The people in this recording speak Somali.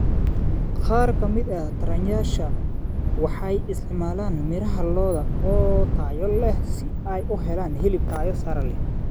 Qaar ka mid ah taranayaasha waxay isticmaalaan miraha lo'da oo tayo leh si ay u helaan hilib tayo sare leh.